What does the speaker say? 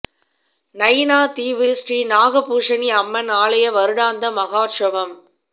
நயினா தீவு ஸ்ரீ நாகபூஷணி அம்மன் ஆலய வருடாந்த மஹோற்சவம்